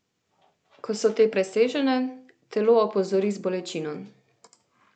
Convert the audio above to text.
Ko so te presežene, telo opozori z bolečino.